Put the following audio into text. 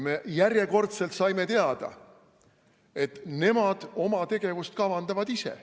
Me järjekordselt saime teada, et nemad kavandavad oma tegevust ise.